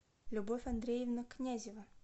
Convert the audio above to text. любовь андреевна князева